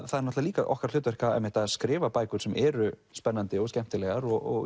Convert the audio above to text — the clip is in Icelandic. það er líka okkar hlutverk að skrifa bækur sem eru spennandi og skemmtilegar og